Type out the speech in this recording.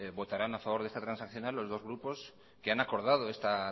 votarán a favor de esta transaccional los dos grupos que han acordado esta